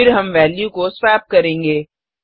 फिर हम वेल्यू को स्वेप करेंगे